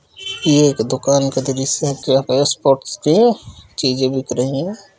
ये एक दुकान का दृश्य है जहाँ पे स्पोर्ट्स के चीज़े बिक रही हैं।